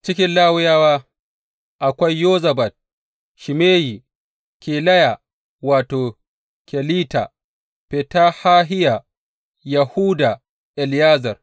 Cikin Lawiyawa, akwai Yozabad, Shimeyi, Kelaya wato, Kelita, Fetahahiya, Yahuda, Eliyezer.